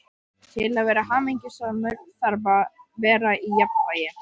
Til að vera hamingjusamur þarf að vera í jafnvægi.